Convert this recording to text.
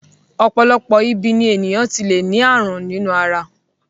Ọ̀pọ̀lọpọ̀ ibi ni ènìyàn ti le ni àrùn ninu ara.